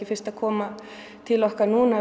fyrst að koma til okkar núna